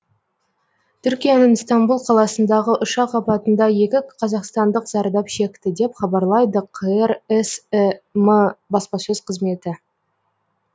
түркияның стамбул қаласындағы ұшақ апатында екі қазақстандық зардап шекті деп хабарлайды қр сім баспасөз қызметі